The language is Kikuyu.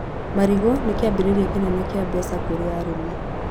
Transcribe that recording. Marigũ nĩ kĩambĩrĩria kĩnene kĩa mbeca kũrĩ arĩmi.